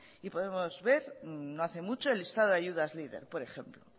y podemos ver no hace mucho el listado de ayudas leader por ejemplo